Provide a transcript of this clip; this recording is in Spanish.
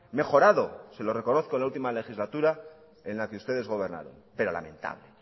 mejorado se lo reconozco en la última legislatura en la que ustedes gobernaron pero lamentable